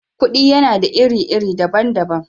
Kudi yana da ire-ire dabban dabban.